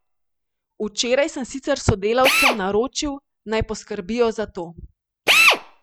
Včeraj sem sicer sodelavcem naročil, naj poskrbijo za to.